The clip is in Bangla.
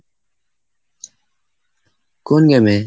কোন game এ?